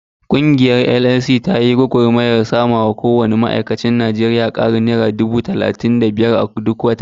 Ƙungiyar NLC ta yi gwagarmayar samarwa kowanne ma'aikacin Najeriya ƙarin naira dubu talatin da biyar duk wata.